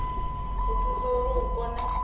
ḓo thusa uri hu kone